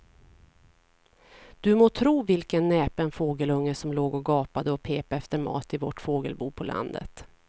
Du må tro vilken näpen fågelunge som låg och gapade och pep efter mat i vårt fågelbo på landet.